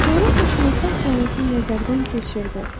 O coğrafiyaşünasın planetini nəzərdən keçirdi.